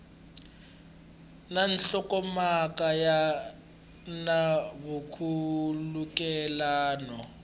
ya nhlokomhaka ya na nkhulukelano